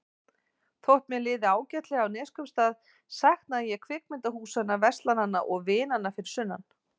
Þótt mér liði ágætlega á Neskaupstað saknaði ég kvikmyndahúsanna, verslananna og vinanna fyrir sunnan.